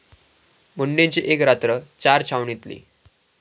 मुंडेंची एक रात्र चारा छावणीतली!